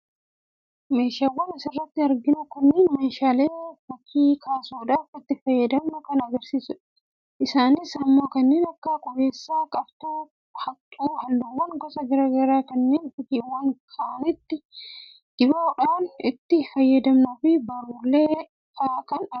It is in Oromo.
meeshaawwan asirratti arginu kunniin meeshaalee fakkii kaasuudhaaf itti fayyadamnu kan agarsiisanidha. isaanis immoo kanneen akka qubeessaa, qartuu, haqxuu, halluuwwan gosa gara garaa kannneen fakkiiwwan ka'anitti dibuudhaaf itti fayyadamnuufi baruulee fa'a kan argamanidha.